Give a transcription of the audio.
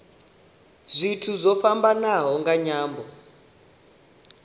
zwithu zwo fhambanaho nga nyambo